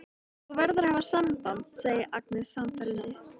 Þú verður að hafa samband, segir Agnes sannfærandi.